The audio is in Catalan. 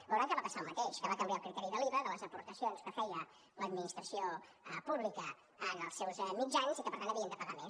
veuran que va passar el mateix que va canviar el criteri de l’iva de les aportacions que feia l’administració pública en els seus mitjans i que per tant havien de pagar més